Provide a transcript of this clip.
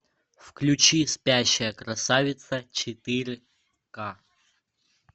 включи спящая красавица четыре ка